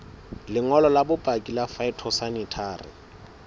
lengolo la bopaki la phytosanitary